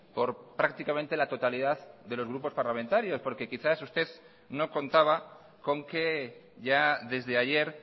por prácticamente la totalidad de los grupos parlamentarios porque quizás usted no contaba con que ya desde ayer